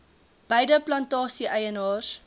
beide plantasie eienaars